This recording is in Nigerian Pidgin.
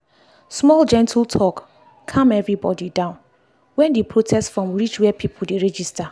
small gentle talk calm everybody down when di protest form reach where people dey register.